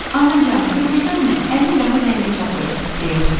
Anacan, görürsənmi, əlim daha zəngə çatır, deyə çığırdı.